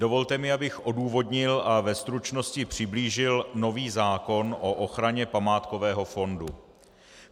Dovolte mi, abych odůvodnil a ve stručnosti přiblížil nový zákon o ochraně památkového fondu.